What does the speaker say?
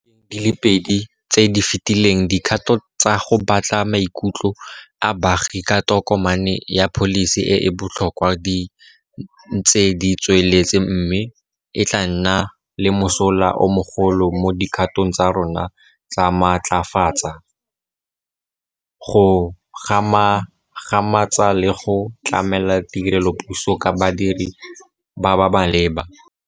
Di le pedi tse di fetileng dikgato tsa go batla maikutlo a baagi ka tokomane ya pholisi e e botlhokwa di ntse di tsweletse mme e tla nna le mosola o mogolo mo dikgatong tsa rona tsa go matlafatsa, go gagamatsa le go tlamela tirelopuso ka badiri ba ba maleba.